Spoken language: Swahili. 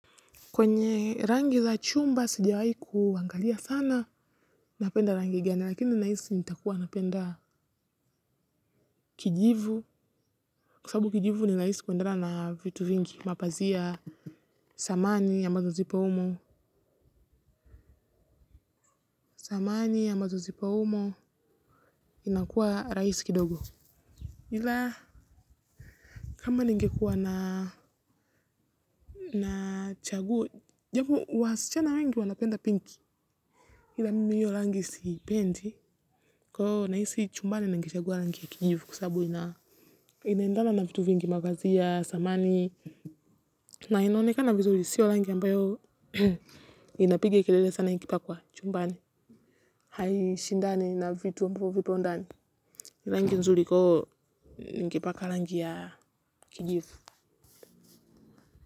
Kwenye rangi za chumba sijawai kuangalia sana napenda rangi gani lakini nahisi nitakua napenda kijivu kwa sababu kijivu ni rahisi kwendana na vitu vingi, mapazia, zamani samani ambazo zipo umo inakuwa rahisi kidogo, ila kama ningekuwa nachagua japo wasichana wengi wanapenda pinki. Hila mimi hiyo rangi sipendi kwa hvo nahisi chumbani ningechagua rangi ya kijivu kwa sabu na inaendana na vitu vingi mavazi ya samani na inaoneka na vizuri sio rangi ambayo inapige kelele sana ikipakwa chumbani. Haishindani na vitu ambavyo vipo ndani raangi nzuri iko ningepaka rangi ya kijivu.